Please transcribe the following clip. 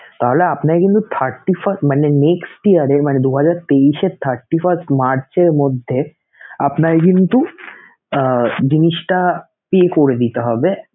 তাহলে আপনার কিন্তু thirty first মানে next year এর মানে দু হাজার তেইশের thirty first মার্চের মধ্যে আপনাকে কিন্তু জিনিসটা pay করে দিতে হবে